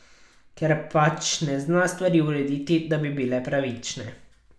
Ker pač ne zna stvari urediti, da bi bile pravične.